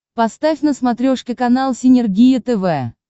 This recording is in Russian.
поставь на смотрешке канал синергия тв